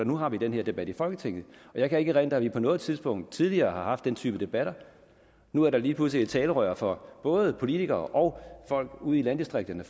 nu har den her debat i folketinget jeg kan ikke erindre at vi på noget tidspunkt tidligere har haft den type debat nu er der lige pludselig et talerør for både politikere og folk ude i landdistrikterne